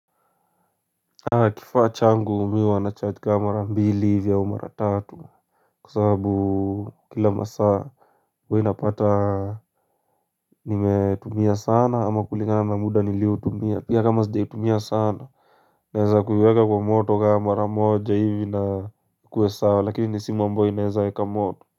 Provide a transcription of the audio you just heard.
Kifaa changu mimi huwa na charge kaa mara mbili hivi au mara tatu kwa sababu kila masaa huwa inapata nimetumia sana ama kulingana na muda niliotumia pia kama sijaitumia sana naeza kuiweka kwa moto kama mara moja hivi na ikuwe sawa lakini ni simu ambao inaeza eka moto.